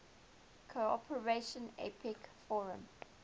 cooperation apec forum